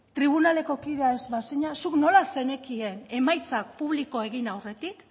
tribunaleko kidea ez bazina zuk nola zenekien emaitzak publiko egin arretik